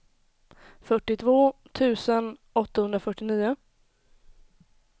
fyrtiotvå tusen åttahundrafyrtionio